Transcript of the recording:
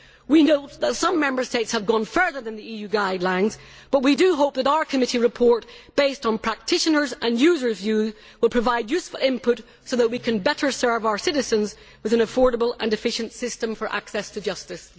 We note that some Member States have gone further than the EU guidelines, but we hope that our committee report, based on practitioners' and users' views, will provide useful input so that we can better serve our citizens with an affordable and efficient system for access to justice.